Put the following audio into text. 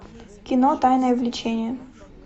кино тайное влечение